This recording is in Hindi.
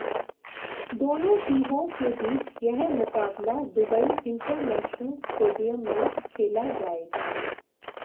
दोनों टीमों के बीच यह मुकाबला दुबई इंटरनेशनल स्टेडियम में खेला जएगा